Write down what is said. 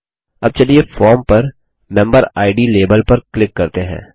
अब चलिए फॉर्म पर मेम्बेरिड लेबल पर क्लिक करते हैं